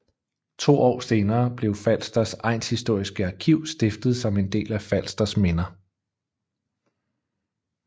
To år senere blev Falsters Egnshistoriske Arkiv stiftet som en del af Falsters Minder